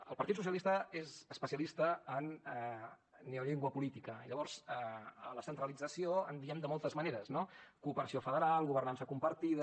el partit socialista és especialista en neollengua política i llavors a la centralització en diem de moltes maneres cooperació federal governança compartida